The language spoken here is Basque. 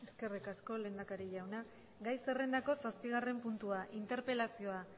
eskerrik asko lehendakari jauna gai zerrendako zazpigarren puntua interpelazioa